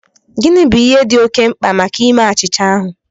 Gịnị bụ ihe dị oké mkpa maka ime achịcha ahụ?